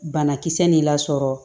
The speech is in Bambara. Banakisɛ nin lasɔrɔ